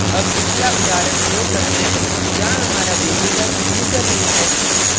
अब पिछला उदाहरण प्रयोग करते हैं जहाँ हमारा variable username है